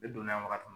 Ne donna wagati